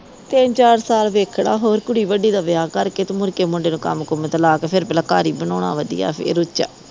ਤਿੰਨ ਚਾਰ ਸਾਲ ਵੇਖਣਾ ਹੋਰ ਕੁੜੀ ਵੱਡੀ ਦਾ ਵਿਆਹ ਕਰ ਕੇ ਤੇ ਮੁੜਕੇ ਮੁੰਡੇ ਨੂੰ ਕੰਮ ਕੁਮ ਤੇ ਲਾ ਕ ਫਿਰ ਪਹਿਲਾ ਘਰ ਈ ਬਣਾਉਣਾ ਵਧਿਆ ਫਿਰ ਉੱਚਾ